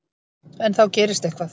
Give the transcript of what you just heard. En þá gerist eitthvað.